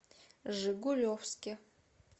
жигулевске